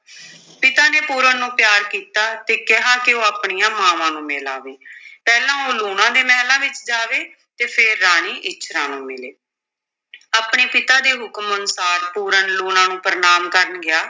ਪਿਤਾ ਨੇ ਪੂਰਨ ਨੂੰ ਪਿਆਰ ਕੀਤਾ ਤੇ ਕਿਹਾ ਕਿ ਉਹ ਆਪਣੀਆਂ ਮਾਵਾਂ ਨੂੰ ਮਿਲ ਆਵੇ ਪਹਿਲਾਂ ਉਹ ਲੂਣਾ ਦੇ ਮਹਿਲਾਂ ਵਿਚ ਜਾਵੇ ਅਤੇ ਫਿਰ ਰਾਣੀ ਇੱਛਰਾਂ ਨੂੰ ਮਿਲੇ ਆਪਣੇ ਪਿਤਾ ਦੇ ਹੁਕਮ ਅਨੁਸਾਰ ਪੂਰਨ ਲੂਣਾਂ ਨੂੰ ਪ੍ਰਣਾਮ ਕਰਨ ਗਿਆ,